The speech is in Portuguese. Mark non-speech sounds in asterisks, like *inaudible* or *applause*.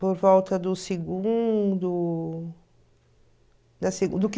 por volta do segundo *unintelligible*